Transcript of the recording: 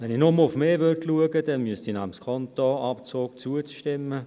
Wenn ich nur auf mich schauen würde, müsste ich diesem Anliegen zustimmen.